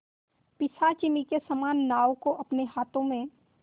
पिशाचिनी के समान नाव को अपने हाथों में